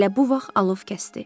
Elə bu vaxt alov kəsdi.